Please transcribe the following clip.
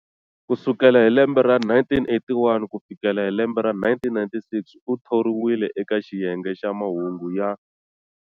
Ku sukela hi lembe ra 1981 ku fikela hi lembe ra 1996 u thoriwile eka xiyenge xa mahungu ya.